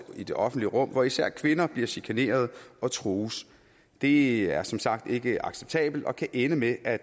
i det offentlige rum hvor især kvinder bliver chikaneret og trues det er som sagt ikke acceptabelt og kan ende med at